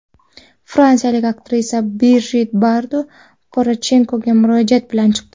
Fransiyalik aktrisa Brijit Bardo Poroshenkoga murojaat bilan chiqdi.